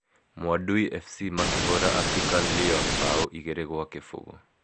Mwadui Fc makĩhũra African Lyon bao 2-0.